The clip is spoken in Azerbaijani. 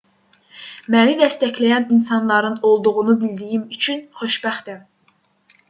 məni dəstəkləyən insanların olduğunu bildiyim üçün xoşbəxtəm